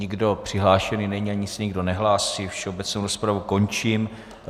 Nikdo přihlášen není ani se nikdo nehlásí, všeobecnou rozpravu končím.